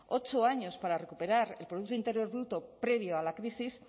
ocho años para recuperar el producto interior bruto previo a la crisis